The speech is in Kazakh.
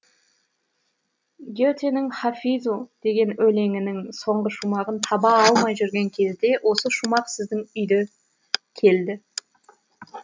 гетенің хафизу деген өлеңінің соңғы шумағын таба алмай жүрген кезде осы шумақ сіздің үйде келді